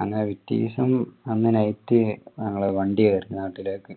അങ്ങനെ പിറ്റേസം night ഞങ്ങൾ വണ്ടി കയറി നാട്ടിലേക്ക്